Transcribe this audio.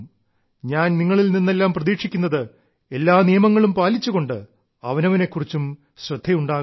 ഞാൻ നിങ്ങളിൽ നിന്നെല്ലാം പ്രതീക്ഷിക്കുന്നത് എല്ലാ നിയമങ്ങളും പാലിച്ചുകൊണ്ട് അവനവനെ കുറിച്ചും ശ്രദ്ധയുണ്ടാകണം